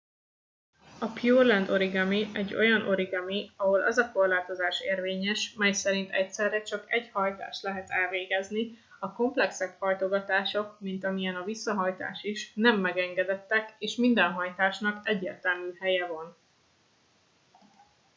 a pureland origami egy olyan origami ahol az a korlátozás érvényes mely szerint egyszerre csak egy hajtást lehet elvégezni a komplexebb hajtogatások mint amilyen a visszahajtás is nem megengedettek és minden hajtásnak egyértelmű helye van